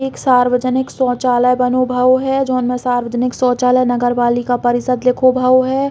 एक सार्वजनक शौचालय बनो भओ है जोन में सार्वजनिक शौचालय नगर बालिका परिषद लिखो भओ है।